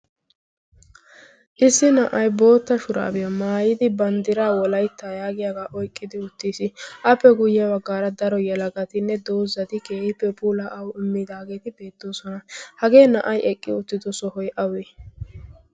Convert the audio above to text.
issi na'ay bootta shuraabiya maayidi banddira wolayttaa yaagiyaagaa oyqqidi uttiis appe guyyeyaa baggaara daro yalagatinne doozati keehippe pula awu immidaageeti beettoosona hagee na'ay eqqi uttido sohoy awi